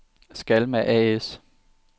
Skalma A/S